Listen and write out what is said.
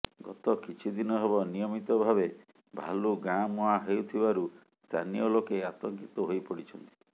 ଗତ କିଛି ଦିନ ହେବ ନିୟମିତ ଭାବେ ଭାଲୁ ଗାଁ ମୁହାଁ ହେଉଥିବାରୁ ସ୍ଥାନୀୟ ଲୋକେ ଆତଙ୍କିତ ହୋଇପଡ଼ିଛନ୍ତି